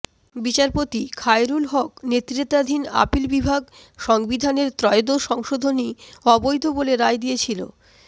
বিচারপতি খায়রুল হক নেতৃত্বাধীন আপিল বিভাগ সংবিধানের ত্রয়োদশ সংশোধনী অবৈধ বলে রায় দিয়েছিল